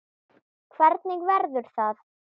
Hvernig verður það?